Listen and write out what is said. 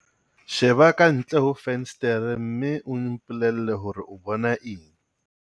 Sheba ka ntle ho fensetere mme o mpolelle hore o bona eng.